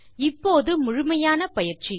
இப்போது முழுமையான பயிற்சி